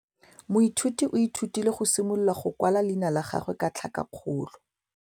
Moithuti o ithutile go simolola go kwala leina la gagwe ka tlhakakgolo.